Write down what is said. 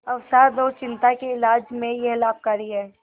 अवसाद और चिंता के इलाज में यह लाभकारी है